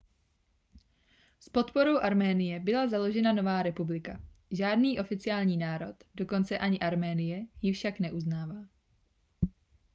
s podporou arménie byla založena nová republika žádný oficiální národ dokonce ani arménie ji však neuznává